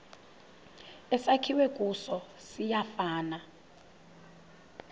esakhiwe kuso siyafana